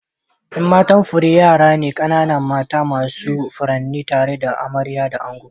Yan matan fure yara ne kanana mata masu furanni tare da amarya da ango.